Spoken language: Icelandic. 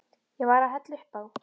Ég var að hella upp á.